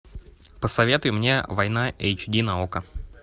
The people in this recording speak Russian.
посоветуй мне война эйч ди на окко